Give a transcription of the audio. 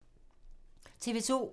TV 2